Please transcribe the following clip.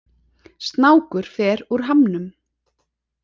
Snákur fer úr hamnum.